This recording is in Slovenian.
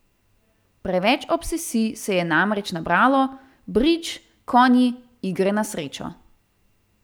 Preveč obsesij se je namreč nabralo, bridž, konji, igre na srečo.